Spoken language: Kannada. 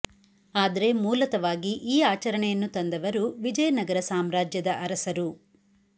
ಆದ್ರೆ ಮೂಲತಃವಾಗಿ ಈ ಆಚರಣೆಯನ್ನು ತಂದವರು ವಿಜಯ ನಗರ ಸಾಮ್ರಾಜ್ಯದ ಅರಸರು